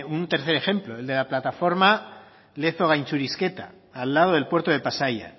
un tercer ejemplo el de la plataforma lezo gaintxurizketa al lado del puerto de pasaia